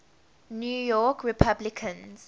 new york republicans